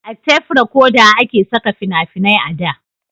a tef rekoda a ke saka fina-finai a da